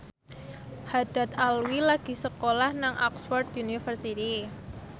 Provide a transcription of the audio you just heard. Haddad Alwi lagi sekolah nang Oxford university